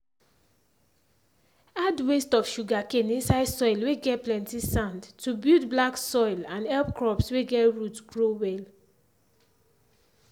add waste of sugarcane inside soil whey get plenty sand to build black soil and help crops whey get root grow well.